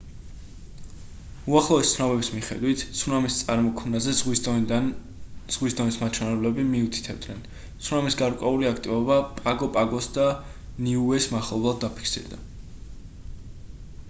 უახლესი ცნობების მიხედვით ცუნამის წარმოქმნაზე ზღვის დონის მაჩვენებლები მიუთითებდნენ ცუნამის გარკვეული აქტივობა პაგო პაგოს და ნიუეს მახლობლად დაფიქსირდა